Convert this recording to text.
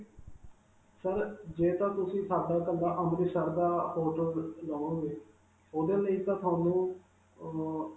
sir, ਜੇ ਤਾਂ ਤੁਸੀਂ ਸਾਡਾ ਕੱਲਾ ਅੰਮ੍ਰਿਤਸਰ ਦਾ hotel ਲਵੋਗੇ, ਉਹਦੇ ਲਈ ਤਾਂ ਤੁਹਾਨੂੰ ਅਅ